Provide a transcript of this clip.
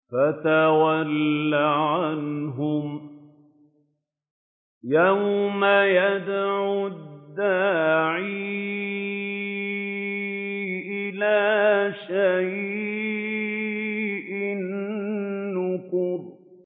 فَتَوَلَّ عَنْهُمْ ۘ يَوْمَ يَدْعُ الدَّاعِ إِلَىٰ شَيْءٍ نُّكُرٍ